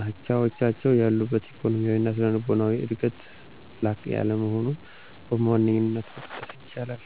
አቻዎቻቸው ያሉበት ኢኮኖሚያዊ እና ስነልቦናዊ ዕድገት ላቅ ያለ መሆኑን በዋነኛነት መጥቀስ ይቻላል።